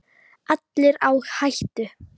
Allir á hættu.